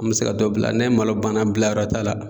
An mi se ka dɔ bila, ni malo bana bila yɔrɔ t'a la